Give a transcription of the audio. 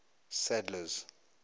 sadler's